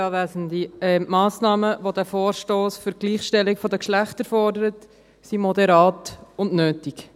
Die Massnahmen, welche der Vorstoss für die Gleichstellung der Geschlechter fordert, sind moderat und nötig.